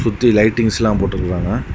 சுத்தி லைட்டிங்ஸ் எல்லாம் போட்டுருக்காங்க.